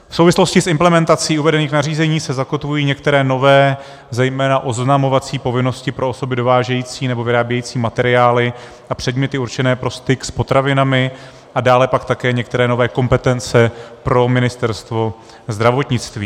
V souvislosti s implementací uvedených nařízení se zakotvují některé nové, zejména oznamovací povinnosti pro osoby dovážející nebo vyrábějící materiály a předměty určené pro styk s potravinami a dále pak také některé nové kompetence pro Ministerstvo zdravotnictví.